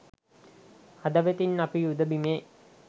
හදවතින් අපි යුධ බිමේ